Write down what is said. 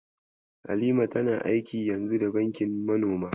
Halima tana aiki yanzu da bankin manoma.